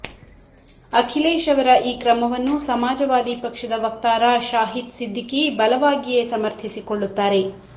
ಅಖಿಲೇಶ್ ಅವರ ಈ ಕ್ರಮವನ್ನು ಸಮಾಜವಾದಿ ಪಕ್ಷದ ವಕ್ತಾರ ಶಾಹಿದ್ ಸಿದ್ದಿಕಿ ಬಲವಾಗಿಯೇ ಸಮರ್ಥಿಸಿಕೊಳ್ಳುತ್ತಾರೆ